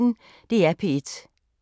DR P1